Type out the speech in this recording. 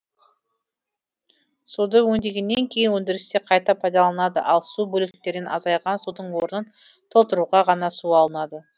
суды өңдегеннен кейін өндірісте қайта пайдаланылады ал су бөліктерінен азайған судың орнын толтыруға ғана су алынады